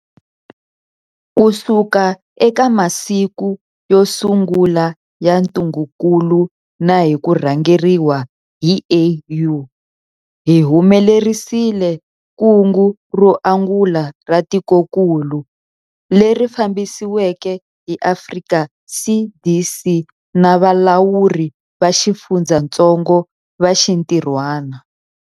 Kusuka eka masiku yo sungula ya ntungukulu na hi ku rhangeriwa hi AU, hi humelerisile kungu ro angula ra tikokulu, leri fambisiweke hi Afrika CDC na valawuri va xifundzatsongo va xintirhwana.